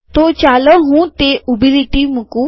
તો ચાલો હું તે ઊભી લીટી મુકું